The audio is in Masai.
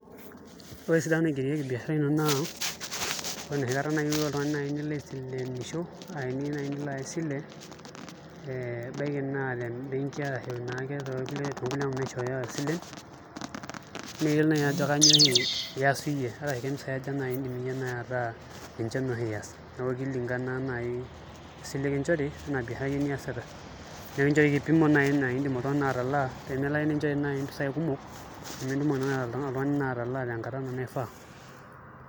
Ore esidano naigerieki biashara naa ore enoshi kata Nazi niyieu oltung'anak nilo aisilenisho eniyieu Nazi nilo aya esile ee ebaiki naa tembenki ashu ake toonkulie wuejitin naishooyo isilen, neyiolouni Nazi ajo kanyioo oshi iaas iyie ashu kempisaai iindim ataa ninche oshi iya, neeku kilingana naai esile nikinchori oina biashara iyie niasita. Nikinchori kipimo niidim naai oltuneg'ani atalaa pee melo ake naai nikinchori naa mpisaai kumok nemiidim naai oltung'ani atalaa tenkata naai naishiaa.